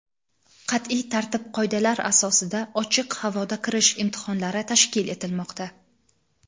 qat’iy tartib-qoidalar asosida ochiq havoda kirish imtihonlari tashkil etilmoqda.